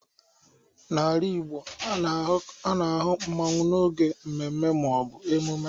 n’ala Igbo, a na-ahụ mmanwu n’oge mmemme ma ọ bụ emume